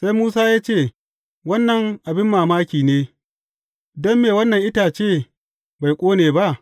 Sai Musa ya ce, Wannan abin mamaki ne, don me wannan itace bai ƙone ba?